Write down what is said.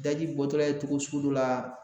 Daji bɔtɔla ye togo sugu dɔ la